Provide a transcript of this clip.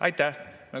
Aitäh!